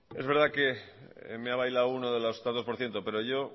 es verdad que me ha bailado uno de los tantos por ciento pero yo